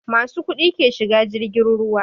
Masu kuɗi ke shiga jirgin ruwa